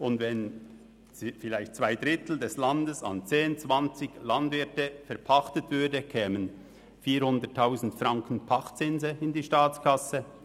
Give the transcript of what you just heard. Wenn zwei Drittel des Landes an zehn bis zwanzig Landwirte verpachtet würden, kämen Pachtzinse in der Höhe von 400 000 Franken in die Staatskasse.